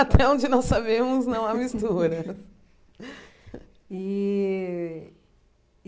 Até onde nós sabemos, não há mistura. E